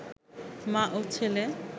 মা ও ছেলে